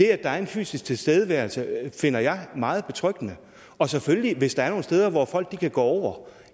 er en fysisk tilstedeværelse finder jeg er meget betryggende og selvfølgelig hvis der er nogle steder hvor folk kan gå